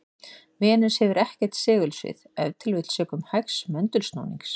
Venus hefur ekkert segulsvið, ef til vill sökum hægs möndulsnúnings.